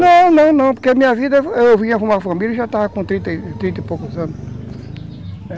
Não, não, não, porque a minha vida, eu vinha com uma família e já estava com trinta e poucos anos.